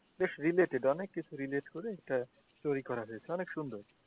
বেশ releated অনেক কিছু releate করে এটা তৈরি করা হয়েছে বেশ অনেক সুন্দর।